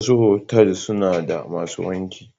Wasu otal suna da masu wanki.